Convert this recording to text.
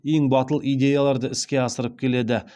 ең батыл идеяларды іске асырып келеді